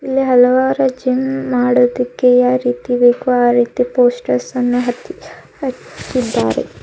ಹಲವಾರು ಜಿಮ್ ಮಾಡೋದಿಕ್ಕೆ ಯಾ ರೀತಿ ಬೇಕು ಆ ರೀತಿ ಪೋಸ್ಟರ್ಸ್ ಅನ್ನು ಹತ್ತಿ ಹಚ್ಚಿದ್ದಾರೆ.